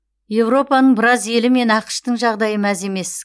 еуропаның біраз елі мен ақш тың жағдайы мәз емес